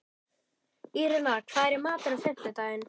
Írena, hvað er í matinn á fimmtudaginn?